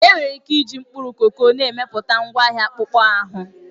Enwere ike iji mkpụrụ koko na-emepụta ngwaahịa akpụkpọ anụ.